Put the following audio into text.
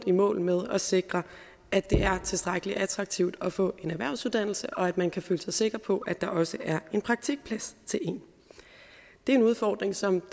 i mål med at sikre at det er tilstrækkelig attraktivt at få en erhvervsuddannelse og at man kan føle sig sikker på at der også er en praktikplads til en det er en udfordring som